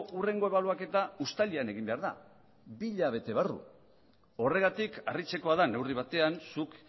hurrengo ebaluaketa uztailean egin behar da bi hilabete barru horregatik harritzekoa da neurri batean zuk